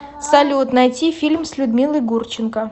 салют найти фильм с людмилой гурченко